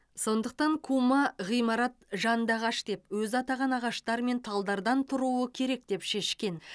сондықтан кума ғимарат жанды ағаш деп өзі атаған ағаштар мен талдардан тұруы керек деп шешкен